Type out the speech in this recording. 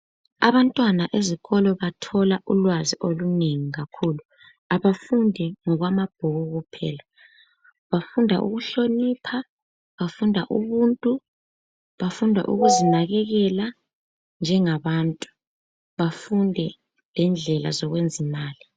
Abantwana ezikolo bathola ulwazi olunengi kakhulu abafundi ngokwamabhuku kuphela bafunda ukuhlonipha bafunda ubuntu bafunda ukuzinakekela njengabantu bafunde lendlela zokwenza imali.